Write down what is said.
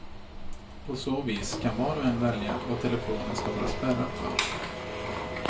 På så vis kan var och en välja vad telefonen ska vara spärrad för.